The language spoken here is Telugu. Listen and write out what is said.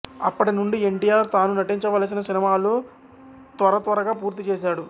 అప్పటి నుండి ఎన్టీఆర్ తాను నటించవలసిన సినిమాలు త్వరత్వరగా పూర్తి చేసాడు